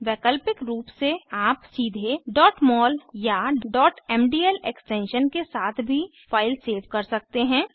वैकल्पिक रूप से आप सीधे mol या mdl एक्सटेंशन के साथ भी फाइल सेव कर सकते हैं